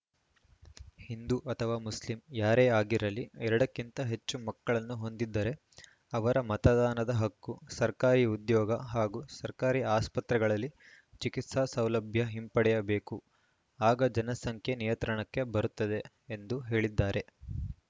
ಹಿಂದೂ ಅಥವಾ ಮುಸ್ಲಿಂ ಯಾರೇ ಆಗಿರಲಿ ಎರಡಕ್ಕಿಂತ ಹೆಚ್ಚು ಮಕ್ಕಳನ್ನು ಹೊಂದಿದ್ದರೆ ಅವರ ಮತದಾನದ ಹಕ್ಕು ಸರ್ಕಾರಿ ಉದ್ಯೋಗ ಹಾಗೂ ಸರ್ಕಾರಿ ಆಸ್ಪತ್ರೆಗಳಲ್ಲಿ ಚಿಕಿತ್ಸಾ ಸೌಲಭ್ಯ ಹಿಂಪಡೆಯಬೇಕು ಆಗ ಜನಸಂಖ್ಯೆ ನಿಯಂತ್ರಣಕ್ಕೆ ಬರುತ್ತದೆ ಎಂದು ಹೇಳಿದ್ದಾರೆ